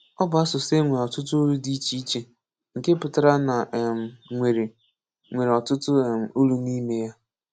Ọ bụ asụsụ e nwere ọtụtụ olu dị iche iche, nke pụtara na e um nwere nwere ọtụtụ um olu n'ime ya.